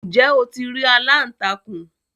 ǹjẹ́ o ti rí “aláǹtakùn?